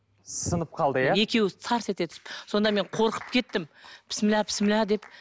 сынып қалды иә екеуі тарс ете түсіп сонда мен қорқып кеттім деп